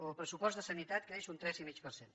el pressupost de sanitat creix un tres i mig per cent